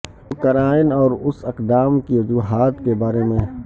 Ukraine اور اس اقدام کی وجوہات کے بارے میں